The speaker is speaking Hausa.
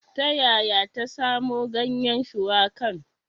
Ta yaya ta samo ganyen shuwakan?